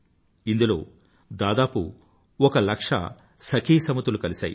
ఇందులో దాదాపు ఒక లక్ష సఖీ సమితులు కలిసాయి